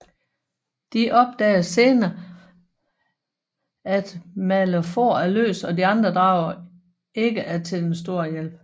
De opdager sener at Malefor er løs og de andre drager ikke er til den store hjælp